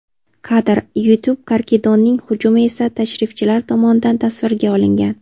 Kadr: YouTube Karikidonning hujumi esa tashrifchilar tomonidan tasvirga olingan.